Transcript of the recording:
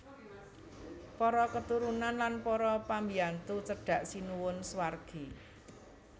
Para keturunan lan para pambyantu cedhak Sinuwun swargi